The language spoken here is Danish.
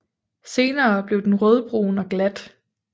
Senere bliver den rødbrun og glat